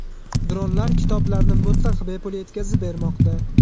Dronlar kitoblarni mutlaq bepul yetkazib bermoqda.